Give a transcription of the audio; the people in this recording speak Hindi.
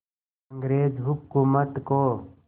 अंग्रेज़ हुकूमत को